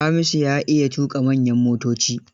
Hamisu ya iya tuƙa manyan motoci.